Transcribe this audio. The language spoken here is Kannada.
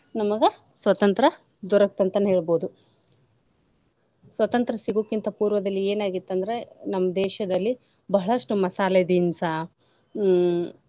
ನಮಗ ಸ್ವತಂತ್ರ ದೊರಕ್ತ ಅಂತಾನೆ ಹೇಳ್ಬಹುದು. ಸ್ವತಂತ್ರ ಸಿಗುಕ್ಕಿಂತ ಪೂರ್ವದಲ್ಲಿ ಏನ ಆಗಿತ್ತ ಅಂದ್ರ ನಮ್ಮ್ ದೇಶದಲ್ಲಿ ಬಹಳಷ್ಟು ಮಸಾಲೆ ದಿನ್ಸಾ ಹ್ಮ್‌.